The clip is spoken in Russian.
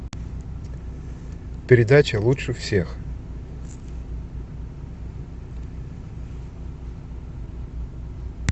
передача лучше всех